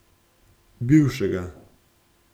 Bivšega.